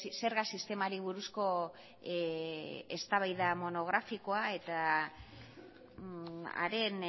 zerga sistemari buruzko eztabaida monografikoa eta haren